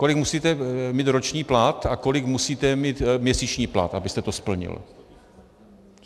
Kolik musíte mít roční plat a kolik musíte mít měsíční plat, abyste to splnil.